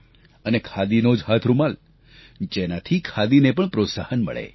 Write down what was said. અને ખાદીનો જ હાથરૂમાલ જેનાથી ખાદીને પણ પ્રોત્સાહન મળે